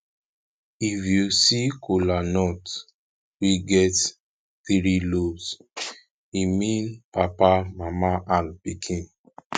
if yu see kolanut wey get tiri lobes e mean papa mama and pikin